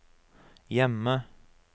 hjemme